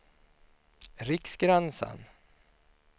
Riksgränsen